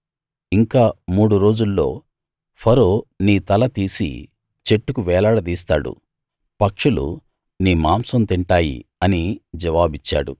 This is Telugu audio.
ఇంక మూడు రోజుల్లో ఫరో నీ తల తీసి చెట్టుకు వేలాడదీస్తాడు పక్షులు నీ మాంసం తింటాయి అని జవాబిచ్చాడు